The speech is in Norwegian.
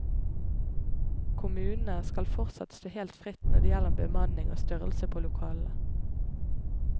Kommunene skal fortsatt stå helt fritt når det gjelder bemanning og størrelse på lokalene.